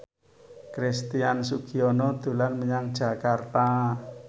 Christian Sugiono dolan menyang Jakarta